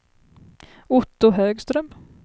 Otto Högström